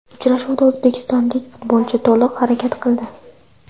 Uchrashuvda o‘zbekistonlik futbolchi to‘liq harakat qildi.